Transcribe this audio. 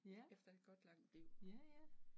Ja, ja ja